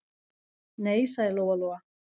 Nei, sagði Lóa-Lóa.